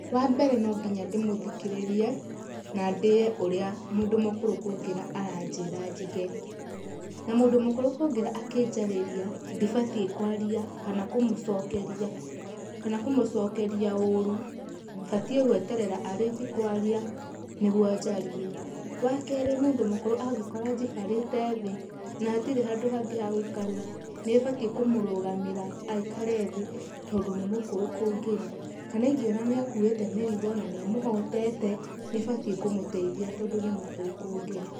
Wa mbere no nginya ndĩmũthikĩrĩrie na ndĩe ũrĩa mũndũ mũkũrũ kũngĩra aranjĩra njige, na mũndũ mũkũrũ kũngĩra angĩnjarĩria ndibatiĩ kwaria kana kũmũcokeria ũru, batiĩ gweterera arĩkie kwaria nĩguo njarie. Wa kerĩ, mũndũ mũkũrũ angĩkora njikarĩte thĩ na hatire handũ hangĩ ha gũikarĩra, nĩbatiĩ kũmũrũgamĩra aikare thĩ tondũ nĩmũkũrũ kũngĩra. Kana ingĩona nĩakuĩte mĩrigo na nĩĩmũhotete nĩbatiĩ kũmũteithia tondũ nĩ mũkũrũ kũngĩra.